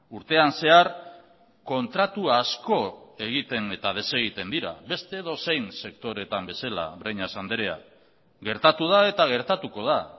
urtean zehar kontratu asko egiten eta desegiten dira beste edozein sektoretan bezala breñas andrea gertatu da eta gertatuko da